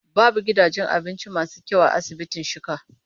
Babu gidajen abinci masu kyau a asibitin Shika.